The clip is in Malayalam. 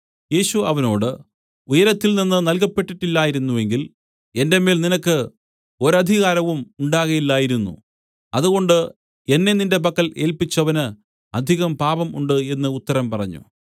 യേശു അവനോട് ഉയരത്തിൽനിന്ന് നൽകപ്പെട്ടില്ലായിരുന്നെങ്കിൽ എന്റെ മേൽ നിനക്ക് ഒരധികാരവും ഉണ്ടാകയില്ലായിരുന്നു അതുകൊണ്ട് എന്നെ നിന്റെ പക്കൽ ഏല്പിച്ചവന് അധികം പാപം ഉണ്ട് എന്നു ഉത്തരം പറഞ്ഞു